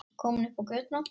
Komin upp á götuna.